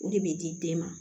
O de bɛ di den ma